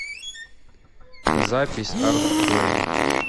запись артплэй